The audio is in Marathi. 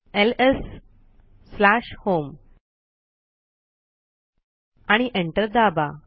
एलएस स्लॅश होम आणि एंटर दाबा